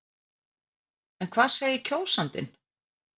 En hvað segir kjósandinn?